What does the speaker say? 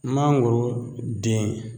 Mangoro den